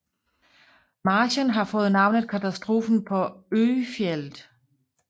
Marchen har fået navnet katastrofen på Öjfjället